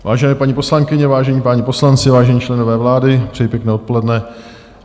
Vážené paní poslankyně, vážení páni poslanci, vážení členové vlády, přeji pěkné odpoledne.